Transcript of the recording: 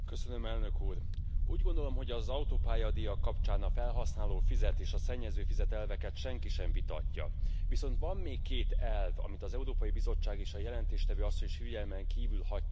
Úgy gondolom, hogy az autópályadíjak kapcsán a felhasználó fizet és a szennyező fizet elveket senki sem vitatja, viszont van még két elv, amit az Európai Bizottság és a jelentéstevő asszony is figyelmen kívül hagytak a javaslatokban.